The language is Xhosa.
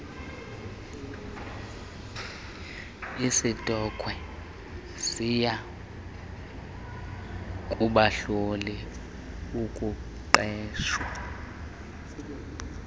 isitokhwe siyakubahlola ukuqeshwa